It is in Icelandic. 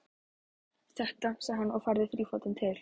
Þetta, sagði hann og færði þrífótinn til.